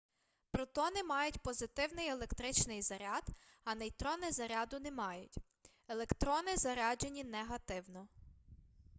протони мають позитивний електричний заряд а нейтрони заряду не мають електрони заряджені негативно